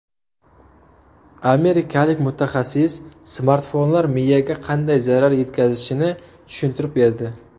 Amerikalik mutaxassis smartfonlar miyaga qanday zarar yetkazishini tushuntirib berdi.